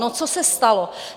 No co se stalo?